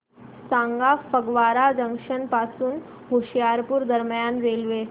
सांगा फगवारा जंक्शन पासून होशियारपुर दरम्यान रेल्वे